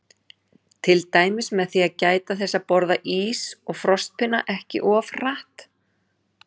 Til dæmis með því að gæta þess að borða ís og frostpinna ekki of hratt.